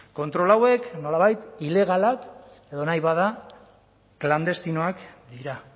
kontrol hauek nolabait ilegalak edo nahi bada klandestinoak dira